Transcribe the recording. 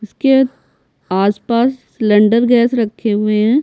इसके आसपास cylinder gas रखे हुए हैं।